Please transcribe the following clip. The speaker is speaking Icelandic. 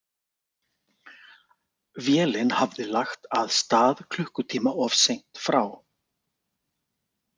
Vélin hafði lagt að stað klukkutíma of seint frá